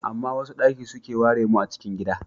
Amma wasu daki suke ware mu a cikin gida.